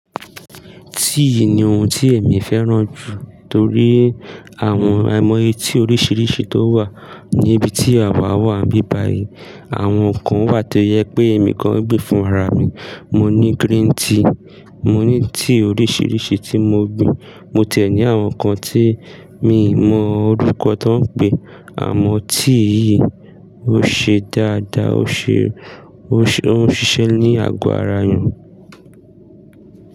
Tíì ni ohun tí èmi fẹ́ràn jù torí àwọn àìmọye tí oríṣiríṣi tó wà níbi tí àwa wà bíbàyí. Àwọn kan wà tó jẹ pé èmi kan gbìn fún ara mi. Mo ní green tea, mo ní tíì oríṣiríṣi tí mo gbìn. Mo tié ní àwọn nǹkan tí mi mọ orúkọ tí wọ́n ń pè, àmọ́ tíì yìí ó ṣe dáadáa, ó ń ṣiṣẹ́ ní àgọ́ ara èèyàn.